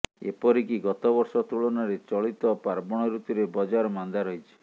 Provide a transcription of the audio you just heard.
ଏପରିକି ଗତବର୍ଷ ତୁଳନାରେ ଚଳିତ ପାର୍ବଣ ଋତୁରେ ବଜାର ମାନ୍ଦା ରହିଛି